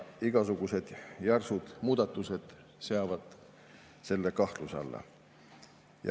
Igasugused järsud muudatused seavad selle kahtluse alla.